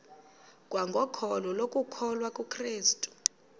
kwangokholo lokukholwa kukrestu